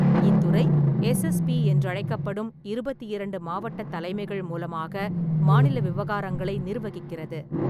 இத்துறை எஸ்எஸ்பி என்றழைக்கப்படும் இருபத்தி இரண்டு மாவட்டத் தலைமைகள் மூலமாக மாநில விவகாரங்களை நிர்வகிக்கிறது.